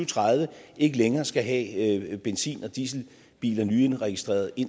tredive ikke længere skal have benzin og dieselbiler nyindregistreret i